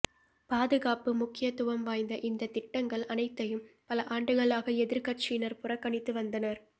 பாதுகாப்பு முக்கியத்துவம் வாய்ந்த இந்த திட்டங்கள் அனைத்தையும் பல ஆண்டுகளாக எதிா்க்கட்சியினா் புறக்கணித்து வந்தனா்